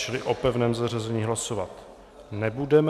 Čili o pevném zařazení hlasovat nebudeme.